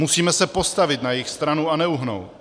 Musíme se postavit na jejich stranu a neuhnout.